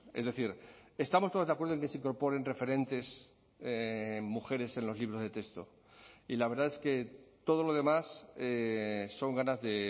es decir estamos todos de acuerdo en que se incorporen referentes mujeres en los libros de texto y la verdad es que todo lo demás son ganas de